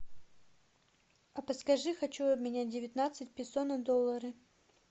а подскажи хочу обменять девятнадцать песо на доллары